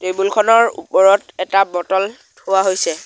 Table খনৰ ওপৰত এটা বটল থোৱা হৈছে।